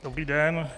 Dobrý den.